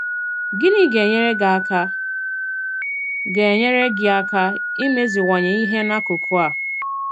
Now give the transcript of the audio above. Gịnị ga-enyèrè gị àka ga-enyèrè gị àka ìmezìwànye ìhé n'akùkù a?